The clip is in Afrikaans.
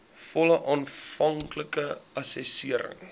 volle aanvanklike assessering